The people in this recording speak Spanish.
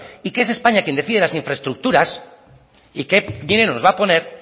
y que es españa quien decide las infraestructuras y qué dinero nos va a poner